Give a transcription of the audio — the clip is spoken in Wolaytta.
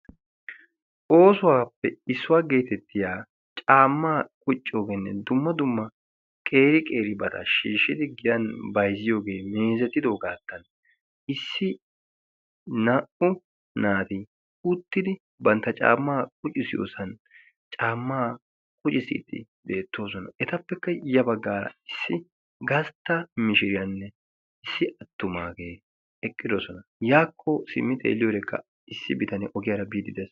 Oosuwaappe issuwaa geetettiya caammaa qucciyoogeenne dumma dumma qeeri qeeri bata shiishshidi giyan baiziyoogee miizetidoogaattan issi naa"u naati uttidi bantta caammaa qucisiyoosan caammaa qucisiiddi beettoosona. etappekka ya baggaara issi gastta mishiriyaanne issi attumaagee eqqidosona' yaakko simmi xeelliyoodekka issi bitanee ogiyaara biidi des.